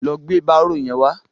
Lọ gbé bárò yẹn wá.